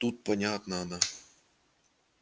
тут понятно она